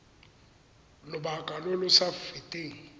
lobaka lo lo sa feteng